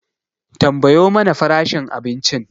Tambayo mana farashin abincin